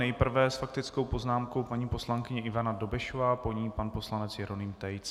Nejprve s faktickou poznámkou paní poslankyně Ivana Dobešová, po ní pan poslanec Jeroným Tejc.